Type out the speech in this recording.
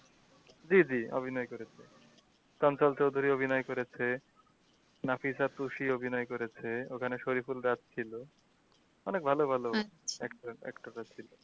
জি জি অভিনয় করেছেন চৌধুরী অভিনয় করেছে অভিনয় করেছে ওখানে সরিফুল রাজ ছিলো অনেক ভালো ভালো actress actor রা ছিলো।